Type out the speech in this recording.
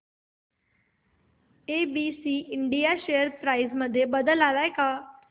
ABC India share price मध्ये बदल आलाय का